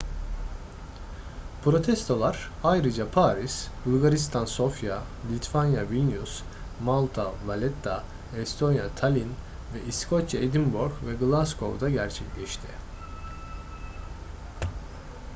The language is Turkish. protestolar ayrıca paris bulgaristan sofya litvanya vilnius malta valetta estonya tallinn ve i̇skoçya edinburgh ve glasgow'da gerçekleşti